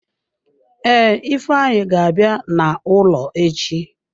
Ee, ifeanyi ga-abịa n'ụlọ echi.